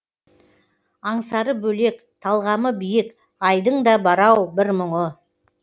аңсары бөлек талғамы биік айдың да бар ау бір мұңы